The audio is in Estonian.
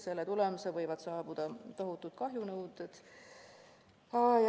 Selle tagajärjel võivad saabuda tohutud kahjunõuded.